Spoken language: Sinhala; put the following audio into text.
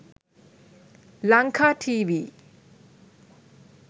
lanka tv